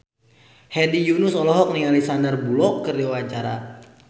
Hedi Yunus olohok ningali Sandar Bullock keur diwawancara